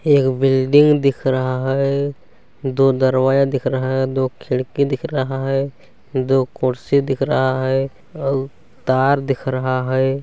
एक बिल्डिंग दिख रहा है दो दरवाजा दिख रहा है दो खिड़की दिख रहा है दो कुर्सी देख रहा है दिख रहा है अउ तार दिख रहा है।